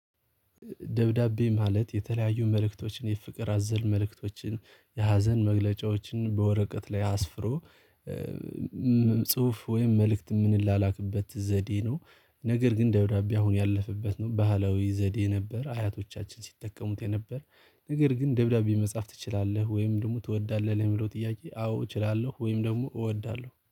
ደብዳቤ ማለት የተለያዩ መልእክቶችን የፍቅር አዘል መልእክቶችን የሀዘን መግለጫዎችን በወረቀት ላይ አስፍሮ ጽሁፍ ወይም መልእክት የምንላላክበት ዘዴ ነው። ነገር ግን ደብዳቤ አሁን ያለፍንበትንም ባህላዊ ዘዴ ነበር አያቶቻችን ሲጠቀሙት የነበር ነገር ግን ደብዳቤ መጻፍ ትችላለህ ወይም ደሞ ትወዳለህ ለሚለው ጥያቄ? አዎ እችላሎህ ወይም ደግሞ እወዳለው